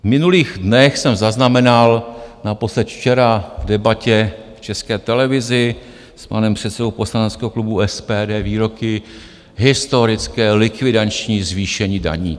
V minulých dnech jsem zaznamenal, naposled včera v debatě v České televizi s panem předsedou poslaneckého klubu SPD výroky: historické likvidační zvýšení daní.